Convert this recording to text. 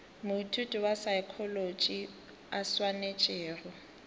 moithuti wa saekholotši a swanetšego